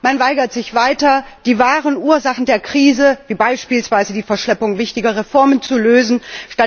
Man weigert sich weiter, die wahren Ursachen der Krise wie beispielsweise die Verschleppung wichtiger Reformen zu beseitigen.